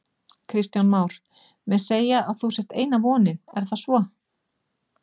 Kristján Már: Menn segja að þú sért eina vonin, er það svo?